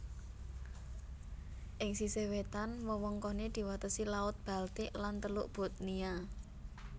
Ing sisih wétan wewengkoné diwatesi Laut Baltik lan Teluk Bothnia